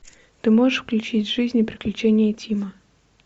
ты можешь включить жизнь и приключения тима